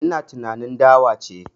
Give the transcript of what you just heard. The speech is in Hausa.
Ina tunanin dawa ce